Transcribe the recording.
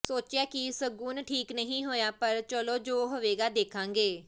ਸੋਚਿਆ ਕਿ ਸਗੁਨ ਠੀਕ ਨਹੀਂ ਹੋਇਆ ਪਰ ਚਲੋ ਜੋ ਹੋਵੇਗਾ ਦੇਖਾਂਗੇ